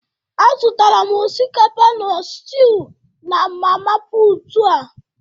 Azụtara m osikapa na stiu na mama put aa